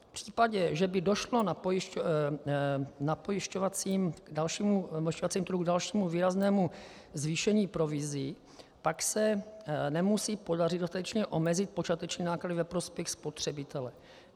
V případě, že by došlo na pojišťovacím trhu k dalšímu výraznému zvýšení provizí, pak se nemusí podařit dostatečně omezit počáteční náklady ve prospěch spotřebitele.